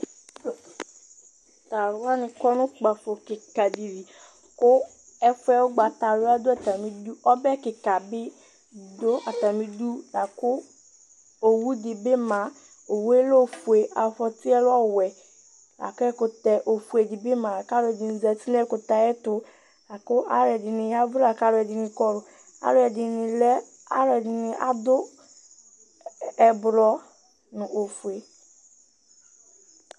Tʋ alʋ wanɩ kɔ nʋ ukpǝfo kɩka dɩ li kʋ ɛfʋ yɛ ʋgbatawla dʋ atamɩdu Ɔbɛ kɩka bɩ dʋ atamɩdu la kʋ owu dɩ bɩ ma Owu yɛ lɛ ofue, afɔtɩ yɛ lɛ ɔwɛ la kʋ ɛkʋtɛ ofue dɩ bɩ ma la kʋ alʋɛdɩnɩ zati nʋ ɛkʋtɛ yɛ ayɛtʋ La kʋ alʋɛdɩnɩ ya ɛvʋ la kʋ alʋɛdɩnɩ kɔlʋ Alʋɛdɩnɩ lɛ, alʋɛdɩnɩ adʋ ɛblɔ nʋ ofue